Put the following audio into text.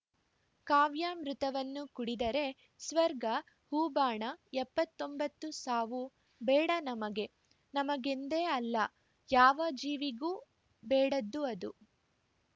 ಕಾವ್ಯಾಮೃತವನ್ನು ಕುಡಿದರೆ ಸ್ವರ್ಗ ಹೂಬಾಣ ಎಪ್ಪತ್ತ್ ಒಂಬತ್ತು ಸಾವು ಬೇಡ ನಮಗೆ ನಮಗೆಂದೇ ಅಲ್ಲ ಯಾವ ಜೀವಿಗೂ ಬೇಡದ್ದು ಅದು